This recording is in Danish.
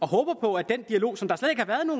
håber på at den dialog